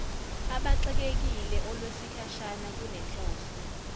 abaxekekile olwesikhashana lunenhloso